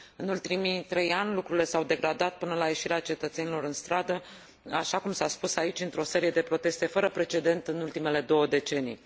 În ultimii trei ani lucrurile s au degradat până la ieșirea cetățenilor în stradă, așa cum s a spus aici, într o serie de proteste fără precedent în ultimele două decenii.